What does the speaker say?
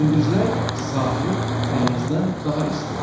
Gündüzlər sahil dənizdən daha isti olur.